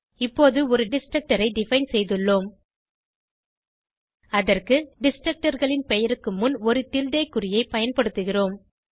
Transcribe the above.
இப்போது ஒரு டிஸ்ட்ரக்டர் ஐ டிஃபைன் செய்துள்ளோம் அதற்கு destructorகளின் பெயருக்கு முன் ஒரு டில்டே குறியை பயன்படுத்துகிறோம்